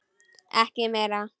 Ekki meira.